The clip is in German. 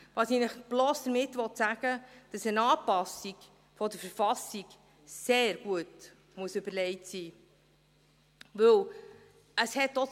was ich Ihnen bloss damit sagen will, ist, dass eine Anpassung der KV sehr gut überlegt sein muss.